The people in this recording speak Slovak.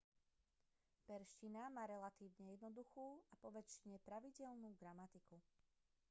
perzština má relatívne jednoduchú a poväčšine pravidelnú gramatiku